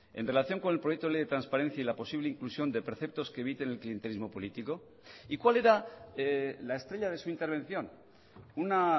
en relación con el proyecto de ley de transparencia y la posible inclusión de preceptos que eviten el clientelismo político y cuál era la estrella de su intervención una